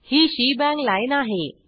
he shebang lineआहे